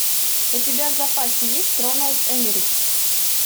у тебя в запасе есть роланд эммерих